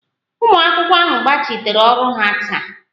Ụmụ akwụkwọ ahụ gbachiteere ọrụ ha taa